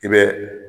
I bɛ